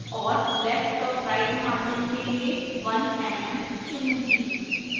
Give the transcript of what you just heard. और left और right margins के लिए 1 mm चुनूंगी